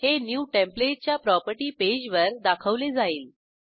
हे new template च्या property पेजवर दाखवले जाईल